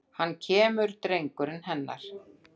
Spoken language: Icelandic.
Og hann kemur drengurinn hennar.